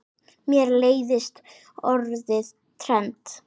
Mér leiðist orðið trend.